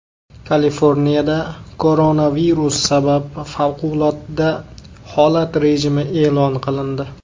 Kaliforniyada koronavirus sabab favqulodda holat rejimi e’lon qilindi .